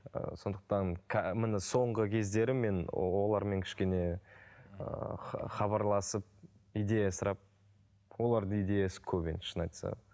ыыы сондықтан міне соңғы кездері мен олармен кішкене ыыы хабарласып идея сұрап олардың идеясы көп енді шынын айтсақ